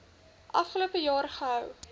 afgelope jaar gehou